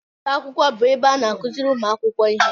Ụlọ akwụkwọ bụ ebe a na-akụziri ụmụ akwụkwọ ihe